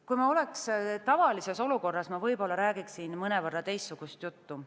Kui me oleksime tavalises olukorras, ma võib-olla räägiksin mõnevõrra teistsugust juttu.